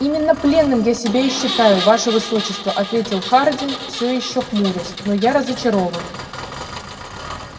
именно пленным я себя и считаю ваше высочество ответил хардин все ещё хмурясь но я разочарован